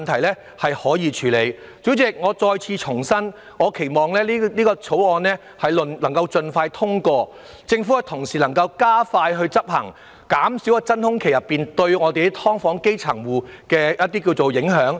代理主席，我再次重申，期望《條例草案》能盡快獲得通過，而政府亦能加快執行，減少在真空期內對基層"劏房戶"的影響。